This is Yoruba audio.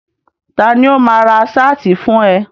Ta ni ó máa ra ṣáàtì fún ẹ.